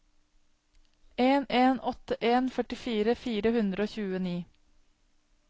en en åtte en førtifire fire hundre og tjueni